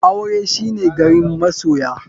Aure shine garin masoya.